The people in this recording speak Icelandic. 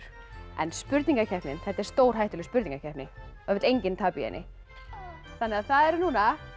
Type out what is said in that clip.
en spurningakeppnin þetta er stórhættuleg spurningakeppni það vill enginn tapa í henni það eru núna